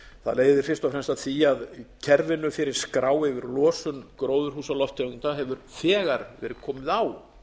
það leiðir fyrst og fremst að því að kerfinu fyrir skrá yfir losun gróðurhúsalofttegunda hefur þegar verið komið á